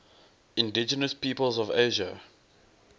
indigenous peoples of asia